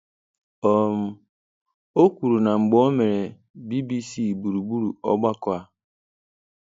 um o kwuru na mgbe o mere BBC gburugburu ogbako a.